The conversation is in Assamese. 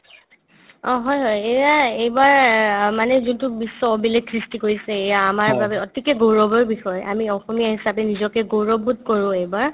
অ, হয় হয় এয়া এইবাৰ মানে যোনটো বিশ্ব অভিলেষ সৃষ্টি কৰিছে এয়া আমাৰ বাবে অতিকে গৌৰবৰ বিষয় আমি অসমীয়া হিচাপে নিজকে গৌৰববোধ কৰো এইবাৰ